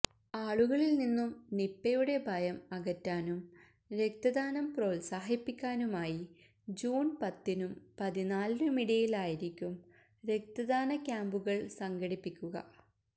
ആളുകളിൽനിന്നും നിപ്പയുടെ ഭയം അകറ്റാനും രക്തദാനം പ്രോത്സാഹിപ്പിക്കാനുമായി ജൂൺ പത്തിനും പതിനാലിനുമിടയിലായിരിക്കും രക്തദാന ക്യാമ്പുകൾ സംഘിപ്പിക്കുക